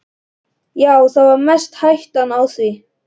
Já, það er mest hættan á því.